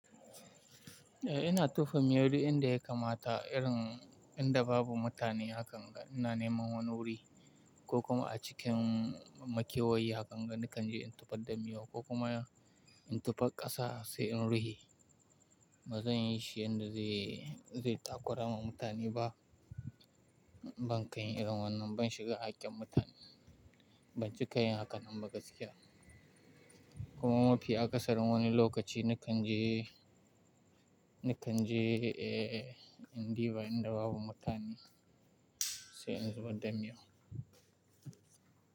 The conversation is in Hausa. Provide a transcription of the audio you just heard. Eh ina tofa miyau duk inda ya kamata irin inda babu mutane hakan ga, ina neman wani wuri ko kuma a cikin makewayi hakan ga nakan je in tofar da miyau ko kuma in tufar ƙasa sai in rufe. Ba zan yi shi inda zai takura ma mutane ba. Banka yin irin wannan, ban shiga hakkin mutane ba, bancika yin hakan nan ba gaskiya. Kuma mafi akasarin wani lokaci na kan je, na kan je eh indiba inda babu mutane sai in zubar da miyau.